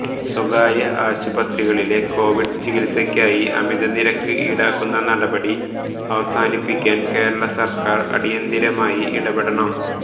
സ്വകാര്യ ആശുപത്രികളിലെ കോവിഡ് ചികിത്സക്കായി അമിത നിരക്ക് ഈടാക്കുന്ന നടപടി അവസാനിപ്പിക്കാൻ കേരള സർക്കാർ അടിയന്തരമായി ഇടപെടണം